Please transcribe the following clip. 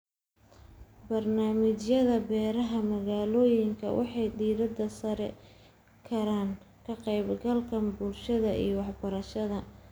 Barnaamijyada beeraha magaalooyinka waxay diiradda saari karaan ka qaybgalka bulshada iyo waxbarashada.